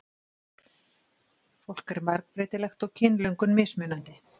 Fólk er margbreytilegt og kynlöngun mismunandi.